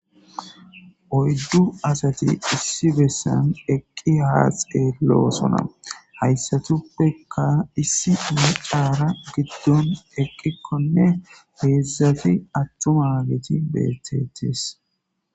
oyddu asati issi bessan eqqi haa xeeloosona hayssatuppekka issi ne caara giddon eqqikkonne heedzu atumagiti beetettis